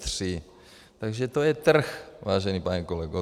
Takže to je trh, vážený pane kolego.